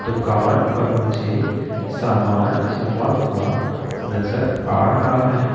दुकान पर मुझे सामान जमा हुआ नजर आ रहा है।